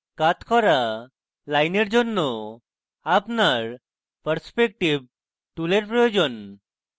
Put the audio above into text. কাত করা lines জন্য আপনার perspective টুলের প্রয়োজন